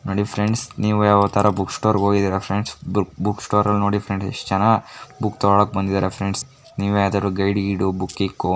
ನೋಡಿ ಫ್ರೆಂಡ್ಸ್ ನೀವು ಯಾವತ್ತಾದ್ರೂ ಬುಕ್ ಸ್ಟೋರ್ಗೆ ಹೋಗಿದೀರಾ ಫ್ರೆಂಡ್ಸ್ ಬುಕ್ ಬುಕ್ ಸ್ಟೋರ್ಸಲ್ಲಿ ನೋಡಿ ಫ್ರೆಂಡ್ಸ್ ಎಷ್ಟು ಜನ ಬುಕ್ ತೊಗೊಳೋಕ್ಕೆ ಬಂದಿದ್ದಾರೆ ಫ್ರೆಂಡ್ಸ್. ನೀವು ಯಾವುದಾದ್ರೂ ಗೈಡ್ ಗಿಐಡು ಬುಕ್ ಗಿಕ್ಕು --